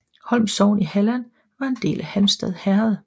Holm sogn i Halland var en del af Halmstad herred